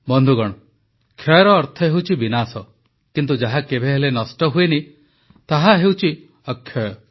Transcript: ବନ୍ଧୁଗଣ କ୍ଷୟର ଅର୍ଥ ହେଉଛି ବିନାଶ କିନ୍ତୁ ଯାହା କେବେହେଲେ ନଷ୍ଟ ହୁଏନି ତାହା ହେଉଛି ଅକ୍ଷୟ